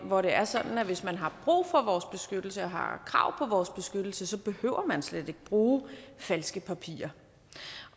hvor det er sådan at hvis man har brug for vores beskyttelse og har krav på vores beskyttelse behøver man slet ikke bruge falske papirer